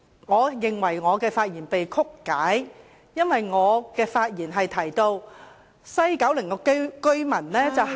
我認為我的發言被曲解了，因為我提到西九龍居民是......